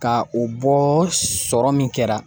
Ka o bɔ sɔrɔ min kɛra